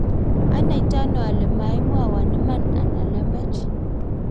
anaitaone ile maimwowo iman anan lembech?